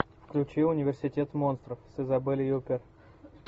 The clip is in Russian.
включи университет монстров с изабель юппер